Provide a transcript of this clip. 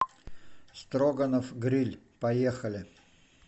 строганов гриль поехали